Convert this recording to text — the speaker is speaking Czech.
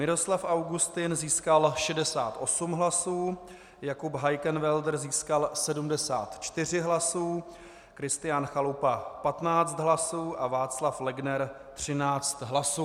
Miroslav Augustin získal 68 hlasů, Jakub Heikenwälder získal 74 hlasů, Kristián Chalupa 15 hlasů a Václav Legner 13 hlasů.